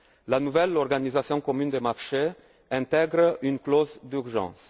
La nouvelle organisation commune des marchés intègre une clause d'urgence.